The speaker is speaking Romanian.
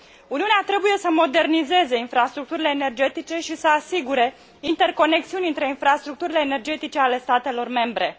Uniunea trebuie să modernizeze infrastructurile energetice și să asigure interconexiuni între infrastructurile energetice ale statelor membre.